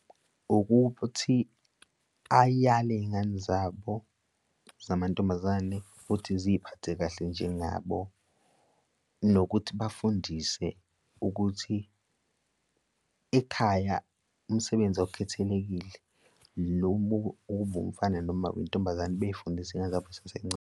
Ukuthi ayiyale iy'ngane zabo zamantombazane futhi ziy'phathe kahle njengabo nokuthi bafundise ukuthi ekhaya umsebenzi okukhethelekile noma ube umfana noma intombazane bey'fundisa iy'ngane zabo zisasey'ncane.